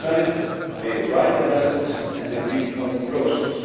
The summit made a right analysis and agreed on a process.